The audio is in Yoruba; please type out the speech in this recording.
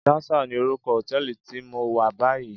Jasal ni órúkò hótèlí ti mó wá bàyí